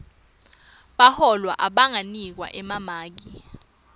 bahlolwa abanganikwa emamaki